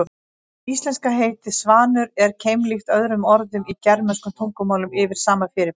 Íslenska heitið svanur er keimlíkt öðrum orðum í germönskum tungumálum yfir sama fyrirbæri.